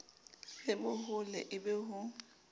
le bohole e be ho